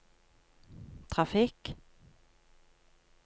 trafikk